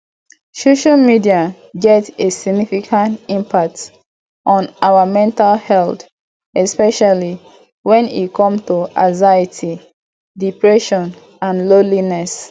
social media get a significant impact on our mental health especially when e come to anxiety depression and loneliness